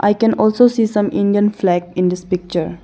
I can also see some indian flag in this picture.